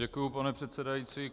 Děkuji, pane předsedající.